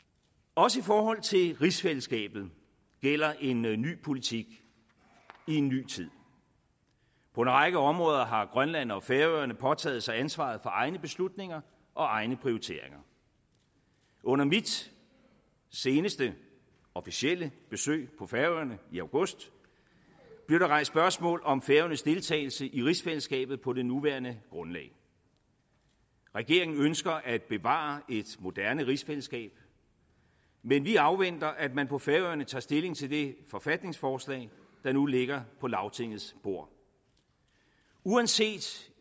også i forholdet til rigsfællesskabet gælder en ny ny politik i en ny tid på en række områder har grønland og færøerne påtaget sig ansvaret for egne beslutninger og egne prioriteringer under mit seneste officielle besøg på færøerne i august blev der rejst spørgsmål om færøernes deltagelse i rigsfællesskabet på det nuværende grundlag regeringen ønsker at bevare et moderne rigsfællesskab men vi afventer at man på færøerne tager stilling til det forfatningsforslag der nu ligger på lagtingets bord uanset